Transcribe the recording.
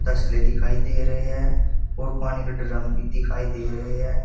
तसले दिखाई दे रहे है और पानी के ड्रम भी दिखाई दे रहे है।